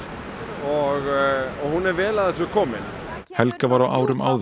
og hún er vel að þessu komin helga var á árum áður